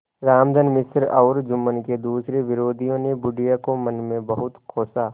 रामधन मिश्र और जुम्मन के दूसरे विरोधियों ने बुढ़िया को मन में बहुत कोसा